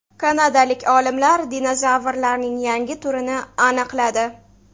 Kanadalik olimlar dinozavrlarning yangi turini aniqladi.